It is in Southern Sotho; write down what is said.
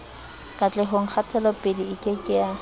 katlehong kgatelopele e ke ke